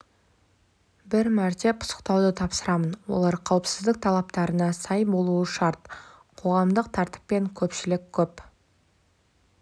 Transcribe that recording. бір мәрте пысықтауды тапсырамын олар қауіпсіздік талаптарына сай болуы шарт қоғамдық тәртіп пен көпшілік көп